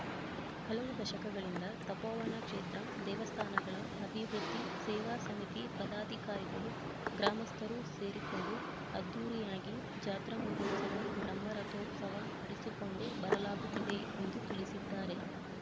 ಹಲವು ದಶಕಗಳಿಂದ ತಪೋವನ ಕ್ಷೇತ್ರ ದೇವಸ್ಥಾನಗಳ ಅಭಿವೃದ್ಧಿ ಸೇವಾ ಸಮಿತಿ ಪದಾಧಿಕಾರಿಗಳು ಗ್ರಾಮಸ್ಥರು ಸೇರಿಕೊಂಡು ಅದ್ದೂರಿಯಾಗಿ ಜಾತ್ರಾಮಹೋತ್ಸವ ಬ್ರಹ್ಮರಥೋತ್ಸವ ನಡೆಸಿಕೊಂಡು ಬರಲಾಗುತ್ತಿದೆ ಎಂದು ತಿಳಿಸಿದ್ದಾರೆ